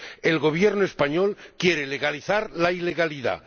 El Gobierno español quiere legalizar la ilegalidad.